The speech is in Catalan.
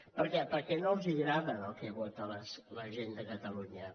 per què perquè no els agrada el que vota la gent de catalunya